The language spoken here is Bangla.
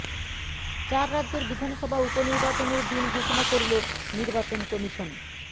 চার রাজ্যের বিধানসভা উপ নির্বাচনের দিন ঘোষণা করল নির্বাচন কমিশন